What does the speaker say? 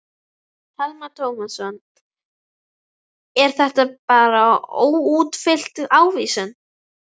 Telma Tómasson: Er þetta bara óútfyllt ávísun?